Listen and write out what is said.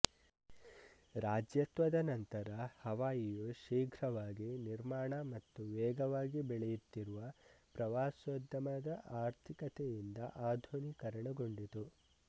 ರಾಜ್ಯತ್ವದ ನಂತರ ಹವಾಯಿಯು ಶೀಘ್ರವಾಗಿ ನಿರ್ಮಾಣ ಮತ್ತು ವೇಗವಾಗಿ ಬೆಳೆಯುತ್ತಿರುವ ಪ್ರವಾಸೋದ್ಯಮದ ಆರ್ಥಿಕತೆಯಿಂದ ಆಧುನೀಕರಣಗೊಂಡಿತು